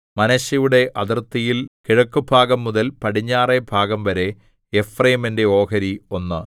മനശ്ശെയുടെ അതിർത്തിയിൽ കിഴക്കുഭാഗംമുതൽ പടിഞ്ഞാറെ ഭാഗംവരെ എഫ്രയീമിന്റെ ഓഹരി ഒന്ന്